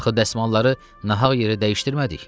Axı dəsmalları nahaq yerə dəyişdirmədik.